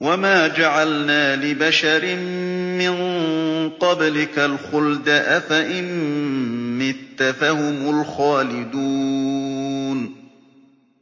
وَمَا جَعَلْنَا لِبَشَرٍ مِّن قَبْلِكَ الْخُلْدَ ۖ أَفَإِن مِّتَّ فَهُمُ الْخَالِدُونَ